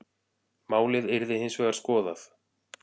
Málið yrði hins vegar skoðað.